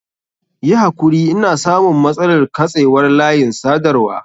Yi hakuri ina samun matsalar katsewar layin sadarwa.